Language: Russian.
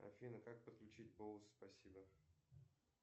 афина как подключить бонус спасибо